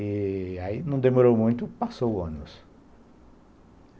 E aí não demorou muito, passou o ônibus.